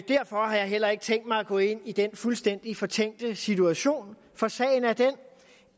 derfor har jeg heller ikke tænkt mig at gå ind i den fuldstændig fortænkte situation sagen er den